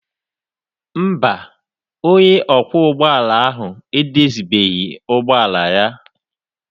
Mba, onye ọkwọ ụgbọala ahụ edozibeghị ụgbọala ya.